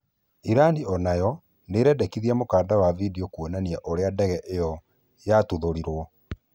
Irani onayo nĩĩrekereirie mũkanda wa bindio ũkĩonania ũrĩa ndege ĩyo yatuthũrirwo.